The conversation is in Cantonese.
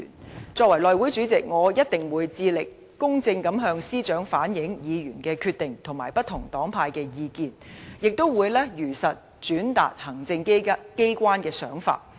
作為內務委員會主席，我一定會致力公正地向司長反映議員的決定和不同黨派的意見，亦會如實轉達行政機關的想法。